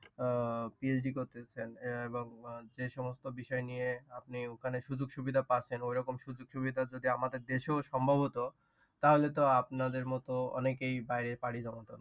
আহ PhD করতেছেন এবং যে সমস্ত বিষয় নিয়ে আপনি ওখানে সুযোগ সুবিধা পাচ্ছেন। ওই রকম সুযোগ সুবিধা যদি আমাদের দেশেও সম্ভব হতো। তা হলে তো আপনাদের মতো অনেকেই বাহিরে পাড়ি জমাতো না।